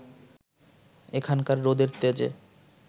এখানকার রোদের তেজে